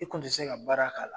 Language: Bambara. I kun ti se ka baara k'a la.